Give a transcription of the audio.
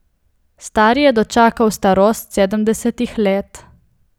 Stari je dočakal starost sedemdesetih let.